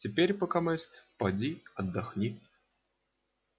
теперь покамест поди отдохни